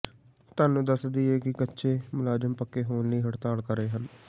ਤੁਹਾਨੂੰ ਦਸ ਦਈਏ ਕਿ ਕੱਚੇ ਮੁਲਾਜ਼ਮ ਪੱਕੇ ਹੋਣ ਲਈ ਹੜਤਾਲ ਕਰ ਰਹੇ ਹਨ